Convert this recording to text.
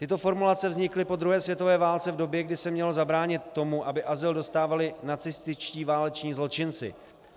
Tyto formulace vznikly po druhé světové válce, v době, kdy se mělo zabránit tomu, aby azyl dostávali nacističtí váleční zločinci.